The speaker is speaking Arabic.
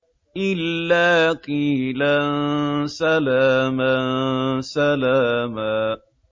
إِلَّا قِيلًا سَلَامًا سَلَامًا